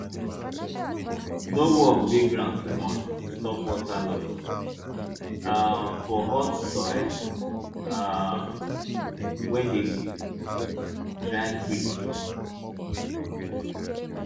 no work di ground too much to stop water loss um for hot soil um wey dey dry quick